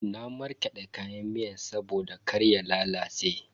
Na markade kayan miyan saboda kar ya lalace.